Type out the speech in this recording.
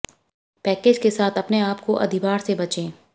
package के साथ अपने आप को अधिभार से बचें